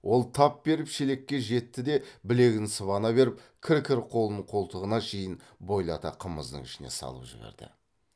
ол тап беріп шелекке жетті де білегін сыбана беріп кір кір қолын қолтығына шейін бойлата қымыздың ішіне салып жіберді